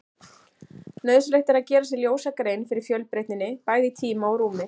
Nauðsynlegt er að gera sér ljósa grein fyrir fjölbreytninni, bæði í tíma og rúmi.